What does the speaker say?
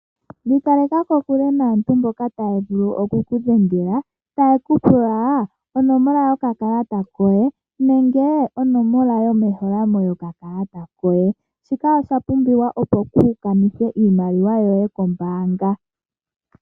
Ikaleka kokole naantu mboka taya vulu okudhengela taye kupula onomola yo kakalata koye nenge onomola yomeholamo yoka kalata koye ,shika osha pumbiwa opo ku kanithe iimaliwa yoye kombaanga.